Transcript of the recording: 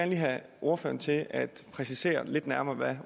have ordføreren til at præcisere lidt nærmere hvad